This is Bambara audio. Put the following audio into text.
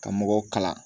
Ka mɔgɔw kalan